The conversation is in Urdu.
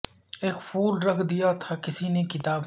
اک پھول رکھ دیا تھا کسی نے کتاب میں